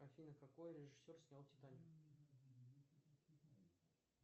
афина какой режиссер снял титаник